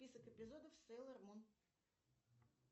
список эпизодов сейлор мун